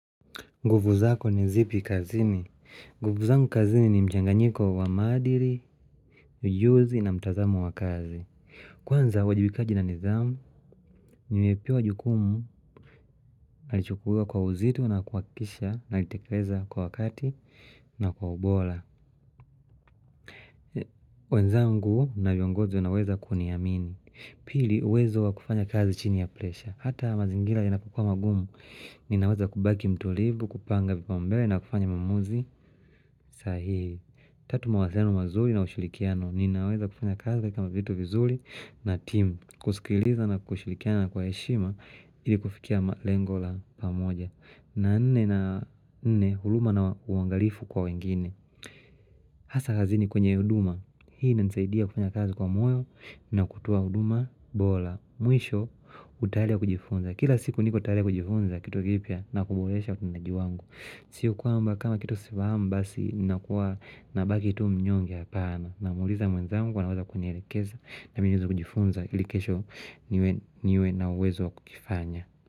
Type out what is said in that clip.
Nguvu zako ni zipi kazini. Nguvu zangu kazini ni mchanganyiko wa maadili, ujuzi na mtazamo wa kazi. Kwanza uwajibikaji na nidhamu, nimepewa jukumu nalichukua kwa uzito na kuhakikisha nalitekeleza kwa wakati na kwa ubora. Wenzangu na viongozi wanaweza kuniamini. Pili uwezo wa kufanya kazi chini ya presha. Hata mazingira yanapokua magumu. Ninaweza kubaki mtulivu, kupanga vipaombele na kufanya mawmuzi. Sahi, tatu mawazeno mazuri na ushurikiano Ninaweza kufanya kazi kama vitu vizuri na timu kuskiliza na kushurikiana kwa heshima ili kufikia lengo la pamoja na nne na nne huruma na uangalifu kwa wengine hasa hazini kwenye huduma Hii inanisaidia kufanya kazi kwa moyo na kutoa huduma bora Mwisho utayari wa kujifunza Kila siku niko tayari kujifunza kitu kipya na kuboresha mnaji wangu siyo kwamba kama kitu sifahamu basi nakuwa na baki tu mnyonge hapana Namuuliza mwenzangu kuwa anaweza kunielekeza na mimi niweze kujifunza ili kesho niwe na uwezo wa kukifanya.